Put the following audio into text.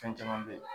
Fɛn caman bɛ yen